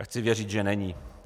A chci věřit, že není.